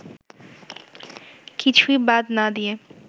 কিছুই বাদ না দিয়ে